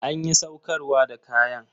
Anƴi saukarwa da kaƴan?